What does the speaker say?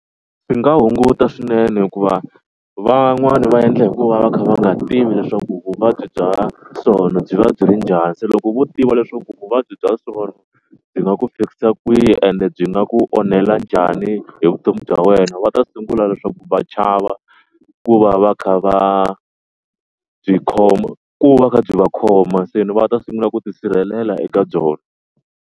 Swi nga hunguta swinene hikuva van'wani va endla hikuva va kha va nga tivi leswaku vuvabyi bya byi va byi ri njhani. Se loko vo tiva leswaku vuvabyi bya byi nga ku fikisa kwihi ende byi nga ku onhela njhani hi vutomi bya wena va ta sungula leswaku va chava ku va va kha va byi khoma ku va kha byi va khoma. Se ni va ta sungula ku tisirhelela eka byona.